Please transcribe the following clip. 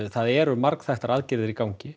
það eru margþættar aðgerðir í gangi